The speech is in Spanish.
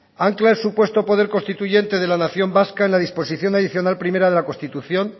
ancla el supuesto poder constituyente de la nación vasca en la disposición adicional primera de la constitución